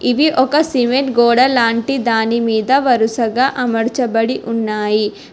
ఇది ఒక సిమెంట్ గోడా లాంటి దానిమీద వరుసగా అమరచబడి ఉన్నాయి.